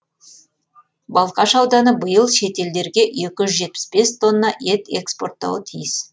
балқаш ауданы биыл шетелдерге екі жүз жетпіс бес тонна ет экспорттауы тиіс